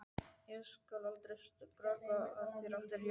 Ég skal aldrei skrökva að þér aftur, ég lofa því.